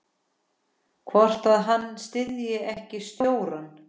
Hvort að hann styddi ekki stjórann?